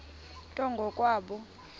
nto ngo kwabo